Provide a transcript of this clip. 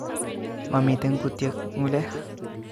Momiten kutyet ngu'lek